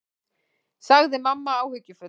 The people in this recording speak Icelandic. sagði mamma áhyggjufull.